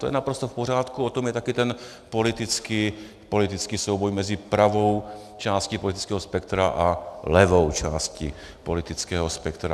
To je naprosto v pořádku, o tom je taky ten politický souboj mezi pravou části politického spektra a levou části politického spektra.